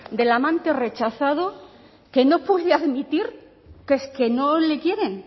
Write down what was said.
del amante rechazado que no puede admitir qué es que no le quieren